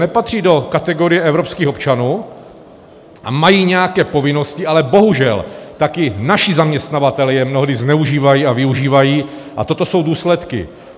Nepatří do kategorie evropských občanů a mají nějaké povinnosti, ale bohužel taky naši zaměstnavatelé je mnohdy zneužívají a využívají, a toto jsou důsledky.